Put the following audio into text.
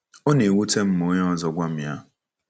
Ọ na-ewute m ma onye ọzọ gwa m ya.”